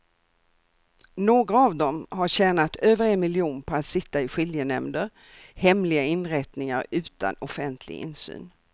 Några av dem har tjänat över en miljon på att sitta i skiljenämnder, hemliga inrättningar utan offentlig insyn.